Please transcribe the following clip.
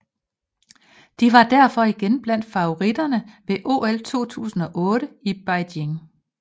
De var derfor igen blandt favoritterne ved OL 2008 i Beijing